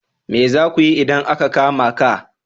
Me za ku yi idan aka kama ka?